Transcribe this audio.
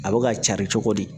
A bɛ ka cari cogo di